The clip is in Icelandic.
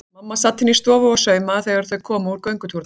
Mamma sat inni í stofu og saumaði þegar þau komu úr göngutúrnum.